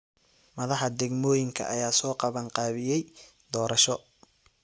Madaxda degmooyinka ayaa soo qaban qaabiyay doorasho.